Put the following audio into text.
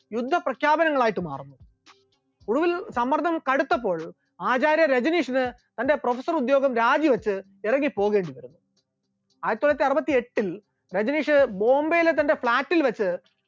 യുദ്ധപ്രഖ്യാപനങ്ങളായിട്ട് മാറുന്നു, ഒടുവിൽ സമ്മർദ്ദം കടുത്തപ്പോൾ ആചാര്യ രജനീഷൻ തന്റെ professor ഉദ്യോഗം രാജിവെച്ച് ഇറങ്ങിപോകേണ്ടിവരുന്നു, ആയിരത്തിത്തൊള്ളായിരത്തി അറുപത്തിയെട്ടിൽ രജനീഷ് ബോംബെയിലെ തന്റെ flat ൽ വെച്ച്